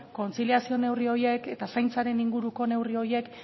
kontziliazio neurri horik eta zaintzaren inguruko neurri horiek